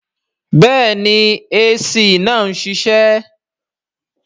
Bẹ́ẹ̀ni AC náà ń ṣiṣẹ́